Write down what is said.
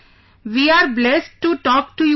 We are blessed to talk to you sir